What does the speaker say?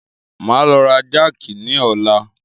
Máa lọ ra jákì ni ọ̀la.